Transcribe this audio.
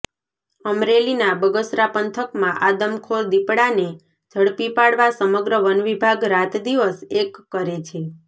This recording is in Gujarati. અમરેલીના બગસરા પંથકમાં આદમખોર દીપડાને ઝડપી પાડવા સમગ્ર વનવિભાગ રાતદિવસ એક કરે છે